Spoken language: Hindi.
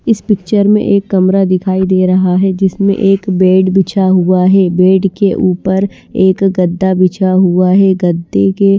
इस पिक्चर में एक कमरा दिखाई दे रहा है जिसमें एक बेड बिछा हुआ है बेड के ऊपर एक गद्दा बिछा हुआ है गद्दे के --